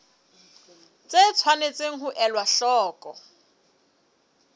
tse tshwanetseng ho elwa hloko